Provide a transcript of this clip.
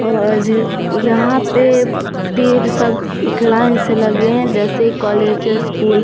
और यहाँ पे पेड़ सब एक लाइन से लगे हैं जैसे कॉलेज या स्कूल --